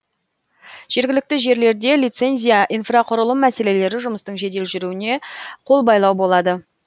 жергілікті жерлерде лицензия инфрақұрылым мәселелері жұмыстың жедел жүруіне қол байлау болады